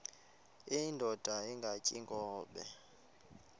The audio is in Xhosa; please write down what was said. indod ingaty iinkobe